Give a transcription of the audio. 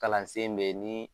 Kalan sen be yen, ni